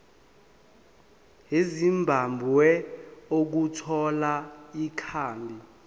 ezimbabwe ukuthola ikhambi